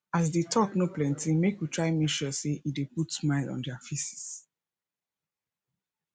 as di talk no plenty make we try make sure say e de put smile on their faces